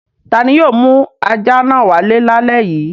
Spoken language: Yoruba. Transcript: Ta ni yóò mú ajá náà wálé lálẹ́ yìí?